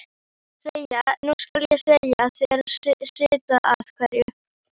Nú skal ég segja þér sitt af hverju.